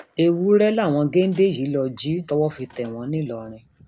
ewúrẹ làwọn géńdé yìí lọọ jí tọwọ fi tẹ wọn ńìlọrin